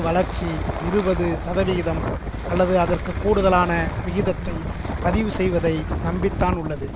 வளர்ச்சி இருபது சதவிகிதம் அல்லது அதற்கு கூடுதலான விகிதத்தைப் பதிவு செய்வதை நம்பி தான் உள்ளது